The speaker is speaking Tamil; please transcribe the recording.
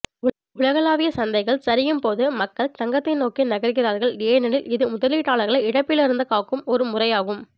உலகளாவிய சந்தைகள் சரியும் போது மக்கள் தங்கத்தை நோக்கி நகர்கிறார்கள் ஏனெனில் இது முதலீட்டாளர்களை இழப்பிலிருந்து காக்கும் ஒரு முறையாகும்